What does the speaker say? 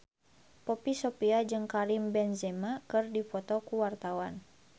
Poppy Sovia jeung Karim Benzema keur dipoto ku wartawan